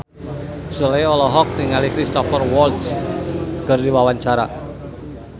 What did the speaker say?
Sule olohok ningali Cristhoper Waltz keur diwawancara